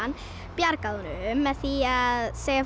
bjargaði honum með því að segja